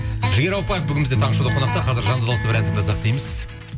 жігер ауыпбаев бүгін бізде таңғы шоуда қонақта қазір жанды дауыста бір ән тыңдасақ дейміз